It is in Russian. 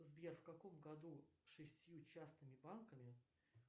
сбер в каком году шестью частными банками